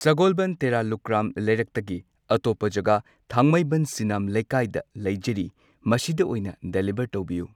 ꯁꯒꯣꯜꯕꯟ ꯇꯦꯔꯥ ꯂꯨꯀ꯭ꯔꯥꯝ ꯂꯩꯔꯛ ꯇꯒꯤ ꯑꯇꯣꯞꯄ ꯖꯒꯥ ꯊꯥꯡꯃꯩꯕꯟ ꯁꯤꯅꯥꯝ ꯂꯩꯀꯥꯏꯗ ꯂꯩꯖꯔꯤ꯫ ꯃꯁꯤꯗ ꯑꯣꯏꯅ ꯗꯦꯂꯤꯕꯔ ꯇꯧꯕꯤꯌꯨ ꯫